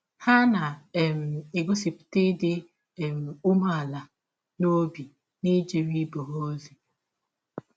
Ha na um - egọsipụta ịdị um ụmeala n’ọbi n’ijere ibe ha ọzi.